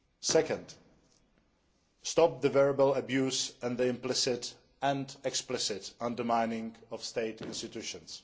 Second, stop the verbal abuse and the implicit and explicit undermining of State institutions.